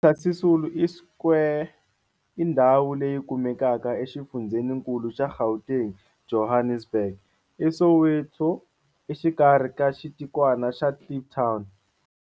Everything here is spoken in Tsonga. Walter Sisulu i Square i ndhawu leyi kumekaka exifundzheninkulu xa Gauteng, Johannesburg, eSoweto, exikarhi ka xitikwana xa Kliptown.